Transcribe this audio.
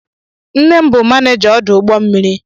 Nne m bụ maneja ọdụ ụgbọ mmiri.